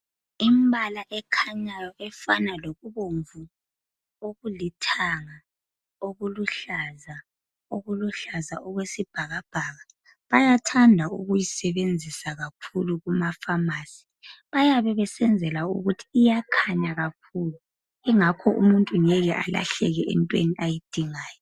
Imbala ekhanyayo, efana lokubomvu, okulithanga. Okuluhlaza, okuluhlaza okwesibhakabhaka. Bayathanda ukuyisebenzisa kakhulu kumapharmacy. Bayabe besenzela ukuthi iyakhanya kakhulu! Ngakho umuntu angeke alahleke kunto ayidingayo.